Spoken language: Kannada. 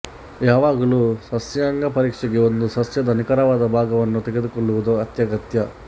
ಯಾವಾಗಲೂ ಸಸ್ಯಾಂಗ ಪರೀಕ್ಷೆಗೆ ಒಂದು ಸಸ್ಯದ ನಿಖರವಾದ ಭಾಗವನ್ನು ತೆಗೆದುಕೊಳ್ಳುವುದು ಅತ್ಯಗತ್ಯ